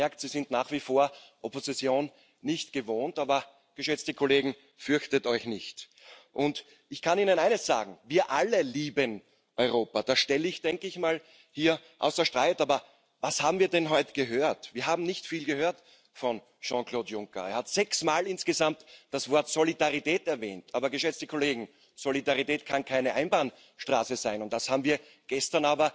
Wiemy, czego nie robić nie robić natrętnych regulacji, które uczą ludzi, jak mają żyć, które odnawiają podziały na Wschód Zachód czy Południe Północ. Dla wielu istotny jest wieloletni budżet nie dla wszystkich, bo niektórzy wolą mały budżet europejski ale